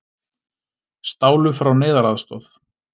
Stálu frá neyðaraðstoð